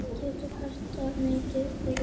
Það gerir mikið fyrir liðið.